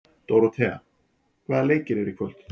Dóróthea, hvaða leikir eru í kvöld?